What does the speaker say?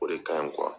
O de ka ɲi